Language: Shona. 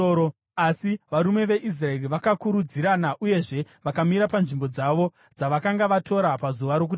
Asi varume veIsraeri vakakurudzirana uyezve vakamira panzvimbo dzavo dzavakanga vatora pazuva rokutanga.